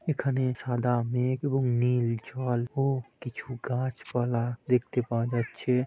এখানে সাদা মেঘ এবং নীল জল ও কিছু গাছপালা দেখতে পাওয়া যাচ্ছে--